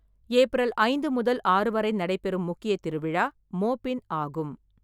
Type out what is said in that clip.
April ஐந்து முதல் ஆறு வரை நடைபெறும் முக்கிய திருவிழா மோபின் ஆகும்.